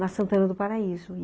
Na Santana do Paraíso.